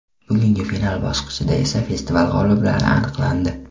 Bugungi final bosqichida esa festival g‘oliblari aniqlandi.